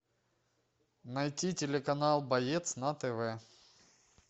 найти телеканал боец на тв